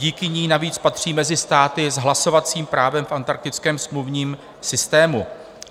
Díky ní navíc patří mezi státy s hlasovacím právem v Antarktickém smluvním systému.